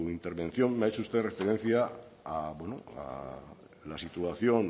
intervención me ha hecho usted referencia a la situación